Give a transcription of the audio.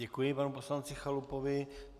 Děkuji panu poslanci Chalupovi.